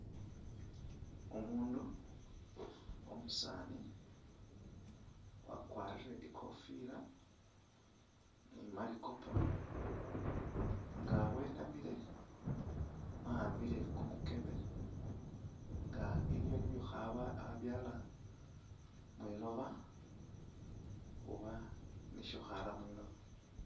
Umundu umusaani wakwarire ikofila ne malikopo nga wenamile waambile kumukebe nga aliyo nibyo akhabyala mwiloba oba nisho akhara mwiloba.